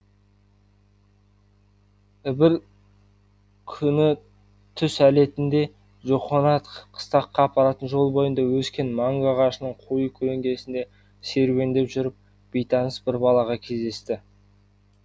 бір күні түс әлетінде джохонатх қыстаққа апаратын жол бойында өскен манго ағашының қою көлеңкесінде серуендеп жүріп бейтаныс бір балаға кездесті